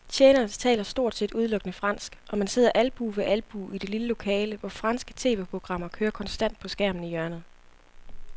Tjenerne taler stort set udelukkende fransk, og man sidder albue ved albue i det lille lokale, hvor franske tv-programmer kører konstant på skærmen i hjørnet.